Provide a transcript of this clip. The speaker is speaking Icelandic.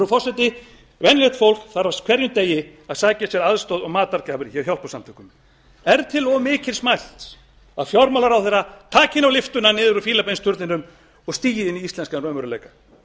frú forseti venjulegt fólk þarf á hverjum degi að sækja sér aðstoð og matargjafir hjá hjálparsamtökum er til of mikils mælst að fjármálaráðherra taki nú lyftuna niður úr fílabeinsturninum og stígi inn í íslenskan raunveruleika